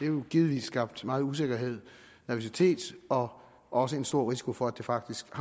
jo givetvis skabt meget usikkerhed og nervøsitet og også en stor risiko for at det faktisk